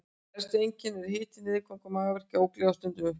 Helstu einkennin eru hiti, niðurgangur, magaverkir, ógleði og stundum uppköst.